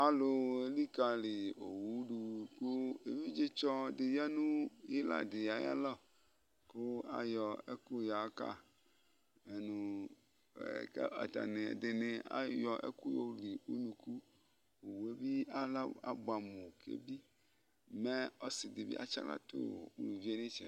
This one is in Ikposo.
alò elikali owu do kò evidze tsɔ di ya no ila di ayi alɔ kò ayɔ ɛkò ya ka mɛ no k'atani ɛdini ayɔ ɛkò yoli unuku owu yɛ bi ala aboɛ amo k'ebi mɛ ɔsi di bi atsi ala to uluvi yɛ n'itsɛdi